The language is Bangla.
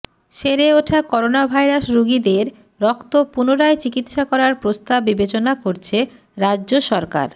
সেরে ওঠা করোনাভাইরাস রোগীদের রক্ত পুনরায় চিকিৎসা করার প্রস্তাব বিবেচনা করছে রাজ্যসরকার